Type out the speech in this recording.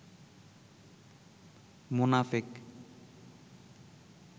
মোনাফেক